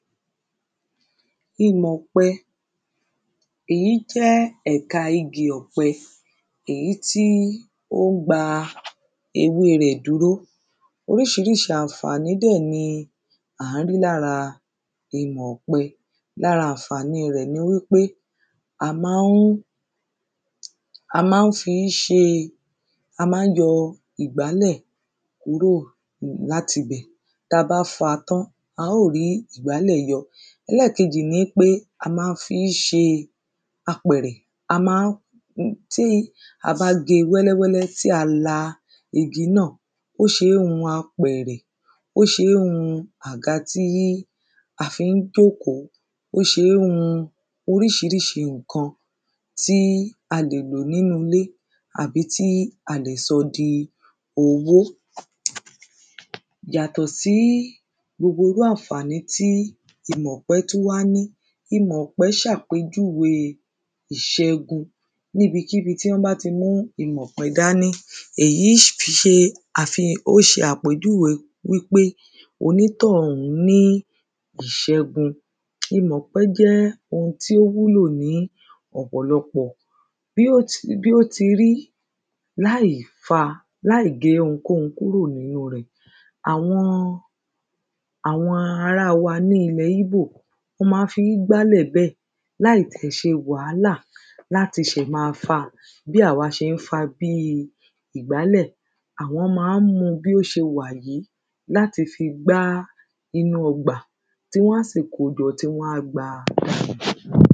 imọ̀ ọ̀pẹ èyí jẹ́ ẹ̀ka igi ọ̀pẹ èyí tí ó gba ewé rẹ̀ dúró oríṣiríṣi ànfàní dẹ̀ ni à ń rí lára imọ̀ ọ̀pẹ lára ànfàní rẹ̀ ni wípé a máa ń fi ń ṣe a máa ń yọ ìgbálẹ̀ kúrò láti ibẹ̀ ta bá fa tán a ó rí ìgbálẹ̀ yọ ẹlẹ́ẹ̀kejì ni pé a máa fi ń ṣe apẹ̀rẹ̀, tí a bá ge wẹ́lẹ́wẹ́lẹ́ tí a la igi náà, ó ṣe ń hun apẹ̀rẹ̀ ó ṣe ń hun àga tí a fi ń jókòó, ó ṣe ń hun oríṣiríṣi ǹkan tí a lè lò nínú ilé àbí tí a lè sọ di owó yàtọ̀ sí gbogbo irú ànfàní tí imọ̀pẹ tún wá ní, imọ̀pẹ ṣàpèjúwe ìṣẹ́gun, ní ibi kíbi tí wọ́n bá ti mú imọ̀ ọ̀pẹ dání èyí ń ṣe àpèjúwe wípé onítọ̀hún ní ìṣẹ́gun imọ̀pẹ jẹ́ ohun tó wúlò ní ọ̀pọ̀lọpọ̀ bí ó ti rí láì gé ohunkóhun kúrò ní inú rẹ̀ àwọn ará wa ní ilẹ̀ íbò wọ́n máa fi ń gbálẹ̀ bẹ́ẹ̀ láì tẹ̀ ṣe wàhálà láti ma fa bí àwa ṣe ń fa bí ìgbálẹ̀ àwọn máa ń mu bí ó ṣe wà yí láti fi gbá inú ọgbà tí wọ́n á sì kojọ tí wọ́n á gba.